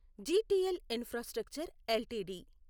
GTL infrastructure LTD